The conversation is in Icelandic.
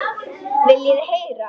Viljið þið heyra?